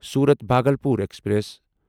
صورت بھاگلپور ایکسپریس